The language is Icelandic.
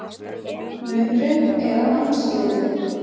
Munur er að mannsliði.